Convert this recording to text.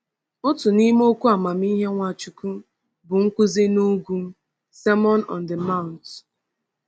Otu n’ime okwu amamihe Nwachukwu bụ Nkuzi n’Ugwu (Sermon on the Mount).